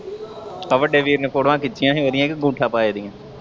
ਆ ਵੱਡੇ ਵੀਰ ਨੇ ਫੋਟੋਆਂ ਖਿੱਚੀਆਂ ਹੀ ਉਹਦੀਆਂ ਕ ਅੰਗੂਠੇ ਪਾਏ ਦੀਆਂ।